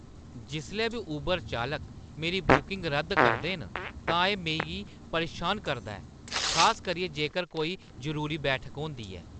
जिसलै बी ऊबर चालक मेरी बुकिंग रद्द करदे न तां एह् मिगी परेशान करदा ऐ, खास करियै जेकर कोई जरूरी बैठक होंदी ऐ।